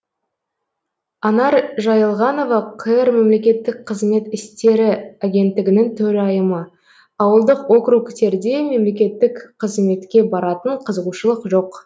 анар жайылғанова қр мемлекеттік қызмет істері агенттігінің төрайымы ауылдық округтерде мемлекеттік қызметке баратын қызығушылық жоқ